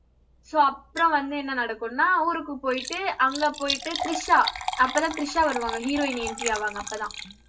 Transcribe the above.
so அப்புறம் வந்து என்ன நடக்கும்னா ஊருக்கு போயிட்டு அங்க போயிட்டு திரிஷா அப்பதான் திரிஷா வருவாங்க heroin entry ஆவாங்க அப்பதான்